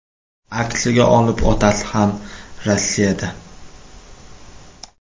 Aksiga olib, otasi ham Rossiyada.